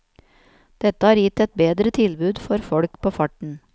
Dette har gitt et bedre tilbud for folk på farten.